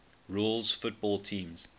rules football teams